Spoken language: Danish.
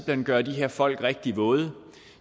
hen gøre de her folk rigtig våde